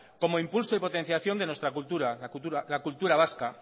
como impulso y potenciación de nuestra cultura la cultura vasca